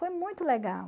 Foi muito legal.